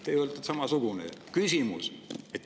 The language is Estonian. Teie olete samasugune.